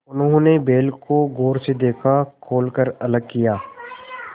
उन्होंने बैल को गौर से देखा खोल कर अलग किया